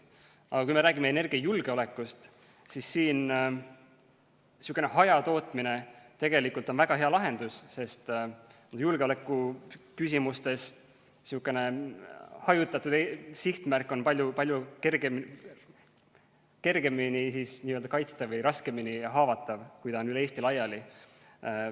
Aga kui me räägime energiajulgeolekust, siis on hajatootmine tegelikult väga hea lahendus, sest julgeolekuküsimuste mõttes on hajutatud sihtmärk palju kergemini kaitstav või raskemini haavatav, kuna ta on üle Eesti laiali.